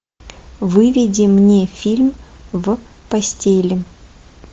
выведи мне фильм в постели